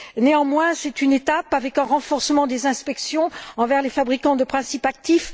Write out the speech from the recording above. Néanmoins, c'est une étape avec un renforcement des inspections envers les fabricants de principes actifs.